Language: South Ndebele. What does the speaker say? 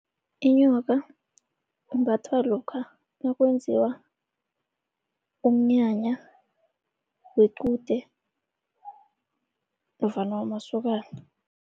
Inyoka imbathwa lokha nakwenziwa umnyanya wequde nofana wamasokana.